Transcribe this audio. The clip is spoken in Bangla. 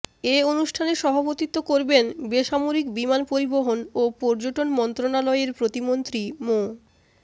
এ অনুষ্ঠানে সভাপতিত্ব করবেন বেসামরিক বিমান পরিবহন ও পর্যটন মন্ত্রণালয়ের প্রতিমন্ত্রী মো